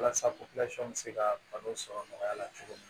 Walasa bɛ se ka balo sɔrɔ nɔgɔya la cogo min na